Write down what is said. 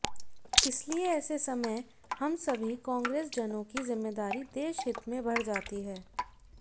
इसलिए ऐसे समय हम सभी कांग्रेसजनों की जिम्मेदारी देश हित में बढ़ जाती है